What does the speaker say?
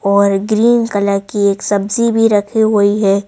और green colour की एक सब्जी भी रखी हुई है।